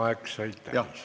Aeg sai täis.